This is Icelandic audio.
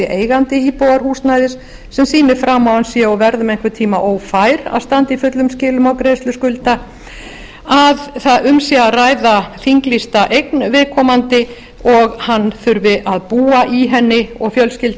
eigandi íbúðarhúsnæðis sem sýnir fram á að hann sé og verði um einhvern tíma ófær að standa í fullum skilum á greiðslum skulda að um sé að ræða þinglýsta eign viðkomandi og hann þurfi að búa í henni eða fjölskylda